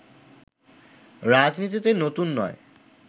রাজনীতিতে নতুন নয়